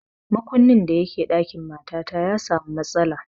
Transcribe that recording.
Makunnin da ke ɗakin matata ya samu matsala